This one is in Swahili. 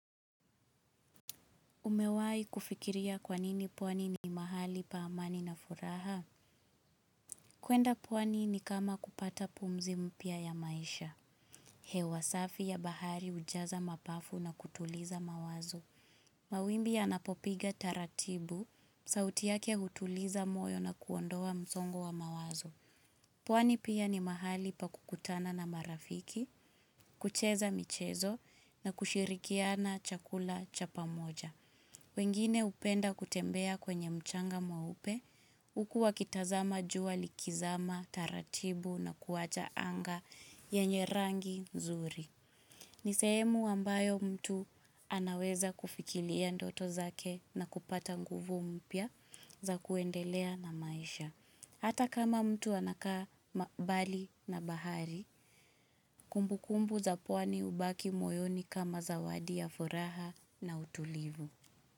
Umewahi kufikiria kwa nini pwani ni mahali pa amani na furaha? Kwenda pwani ni kama kupata pumzi mpya ya maisha. Hewa safi ya bahari hujaza mapafu na kutuliza mawazo. Mawimbi yanapopiga taratibu, sauti yake hutuliza moyo na kuondoa msongo wa mawazo. Pwani pia ni mahali pa kukutana na marafiki, kucheza michezo na kushirikiana chakula cha pamoja. Wengine hupenda kutembea kwenye mchanga mweupe, huku wakitazama jua likizama taratibu na kuwacha anga yenye rangi nzuri. Ni sehemu ambayo mtu anaweza kufikiria ndoto zake na kupata nguvu mpya za kuendelea na maisha. Hata kama mtu anakaa mbali na bahari, kumbukumbu za pwani hubaki moyoni kama zawadi ya furaha na utulivu.